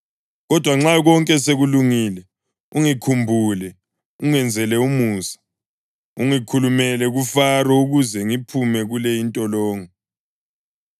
Kodwa nxa konke sekulungile ungikhumbule, ungenzele umusa; ungikhulumele kuFaro ukuze ngiphume kule intolongo.